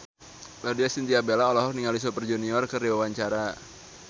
Laudya Chintya Bella olohok ningali Super Junior keur diwawancara